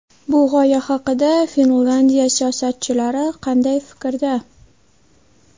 Bu g‘oya haqida Finlyandiya siyosatchilari qanday fikrda?